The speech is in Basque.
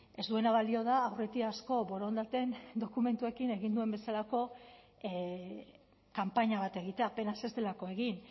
ez duena balio da aurretiazko borondateen dokumentuekin egin duen bezalako kanpaina bat egitea apenas ez delako egin